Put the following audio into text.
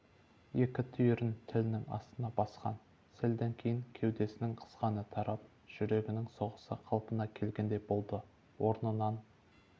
екі түйірін тілінің астына басқан сәлден кейін кеудесінің қысқаны тарап жүрегінің соғысы қалпына келгендей болды орнынан